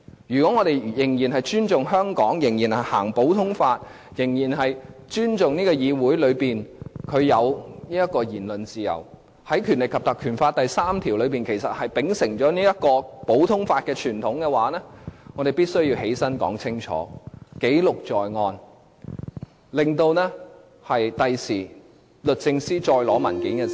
如果我們仍然尊重香港，仍然行使普通法，仍然尊重議會內有言論自由，而《條例》第3條其實是秉承了這項普通法的傳統，我們必須要站起來說清楚，記錄在案，令日後律政司再要求索取文件時......